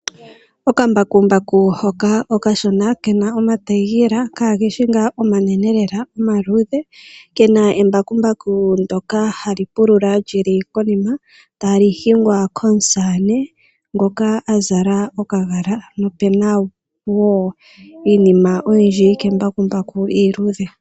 Okambakumbaku hoka okashona ke na omatayela kaage shi ngaa omanene lela omaluudhe, ke na embakumbaku ndyoka hali pulula li li konima tali hingwa komusamane ngoka a zala okagala, nopu na wo iinima oyindji kembakumbaku iiluudhe.